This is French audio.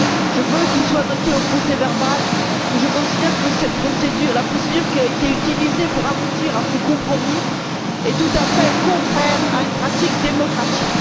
Je veux qu'il soit noté au procès verbal que je considère que la procédure qui a été utilisée pour parvenir à ce compromis est tout à fait contraire à une pratique démocratique.